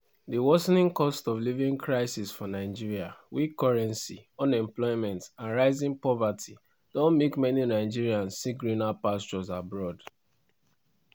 di worsening cost-of-living crisis for nigeria weak currency unemployment and rising poverty don make many nigerians seek greener pastures abroad.